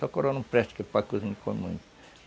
Só coroa não presta, que o pai cozinha e come muito.